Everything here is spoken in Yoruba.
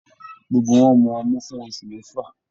Gbogbo wọn mú ọmu fún oṣù mẹfa.